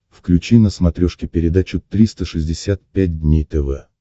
включи на смотрешке передачу триста шестьдесят пять дней тв